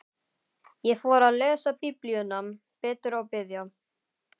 Ég fór að lesa Biblíuna betur og biðja.